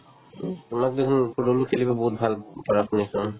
তোমাক দেখুন ত খেলিব বহুত ভাল পাৰাতো দে চোন